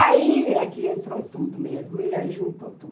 Aí é que entrou tudo mesmo, e aí juntou tudo.